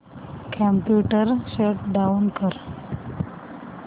computer shut down कर